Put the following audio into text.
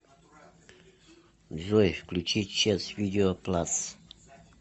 джой включи чес видео плас